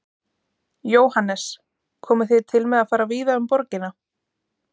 Jóhannes: Komið þið til með að fara víða um borgina?